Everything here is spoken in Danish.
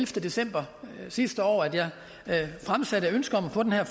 september sidste år at jeg fremsatte ønske om at få den her